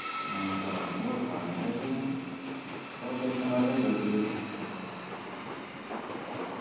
ആ car ന് പോവാ car ന് ആയിക്കഴിഞ്ഞാ ചെക്കമ്മാരെന്നെല്ലേ അടിപൊളിയാണ്